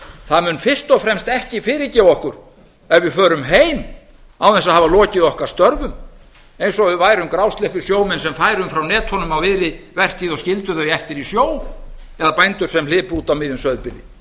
það mun fyrst og fremst ekki fyrirgefa okkur ef við förum heim án þess að hafa lokið okkar störfum eins og við værum grásleppusjómenn sem færum frá netunum á miðri vertíð og skildum þau eftir í sjó eða bændur sem hlypu út á miðjum sauðburði